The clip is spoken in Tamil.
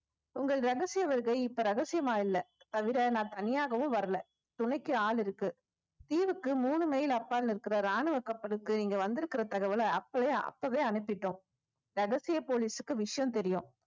உங்கள் ரகசிய வருகை இப்ப ரகசியமா இல்லை தவிர நான் தனியாகவும் வரல துணைக்கு ஆள் இருக்கு தீவுக்கு மூணு mile அப்பால் இருக்கிற ராணுவ கப்பலுக்கு இங்க வந்திருக்கிற தகவல அப்பவே அப்பவே அனுப்பிட்டோம் ரகசிய போலீசுக்கு விஷயம் தெரியும்